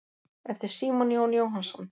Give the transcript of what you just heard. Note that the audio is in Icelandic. eftir símon jón jóhannsson